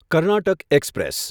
Karnataka express